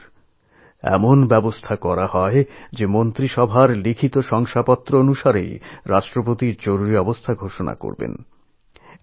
এই প্রথমবার এরকম বন্দোবস্ত হল যে মন্ত্রীসভার লিখিত ঐক্যমত্যের ভিত্তিতেই রাষ্ট্রপতি দেশে জরুরী অবস্থা ঘোষণা করতে পারবেন